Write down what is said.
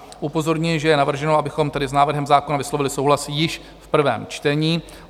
Upozorňuji, že je navrženo, abychom tedy s návrhem zákona vyslovili souhlas již v prvém čtení.